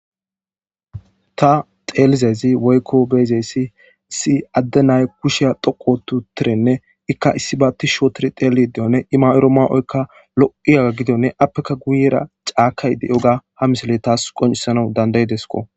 Ta xeelizezi woykko beyzeyssi issi adde nay kusheya dhoqotu tirenne ikka issi baatti shootir teeli deyone ima'or' maa'oykka lo'iyaga gido ne appeka guyera caakaydey yoga ha misile taas qoncisana dandayidesko.